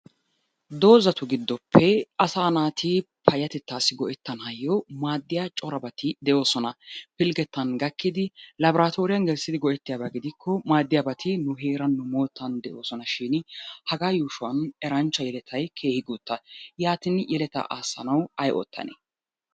Doozatu giddoppe asa naati payyatetassi go"ettanaw maaddiya corabati de'oosona. Pilggetan gakidi laboratory gelissidi go"ettiyaaba gidiko maaddiyaabati nu heeran nu moottan de'oosonashin hagaa yuushshuwan eranchcha yelettay keehin guuttaa. Yaatin yelatta aasanaw ay oottane?